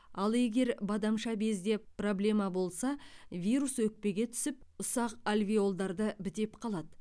ал егер бадамша безде проблема болса вирус өкпеге түсіп ұсақ альвеолдарды бітеп қалады